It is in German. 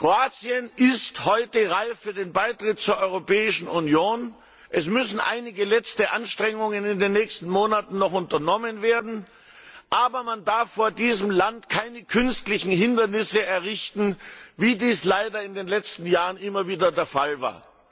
Kroatien ist heute reif für den Beitritt zur Europäischen Union. Es müssen in den nächsten Monaten noch einige letzte Anstrengungen unternommen werden. Aber man darf vor diesem Land keine künstlichen Hindernisse errichten, wie dies leider in den letzten Jahren immer wieder der Fall